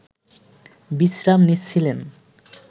বিশ্রাম নিচ্ছিলেন